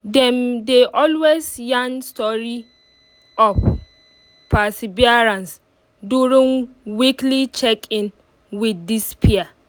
them dey always yarn story of perseverance during weekly check in with this peer